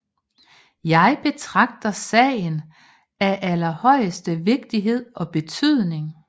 Jeg betragter sagen af aller højeste vigtighed og betydning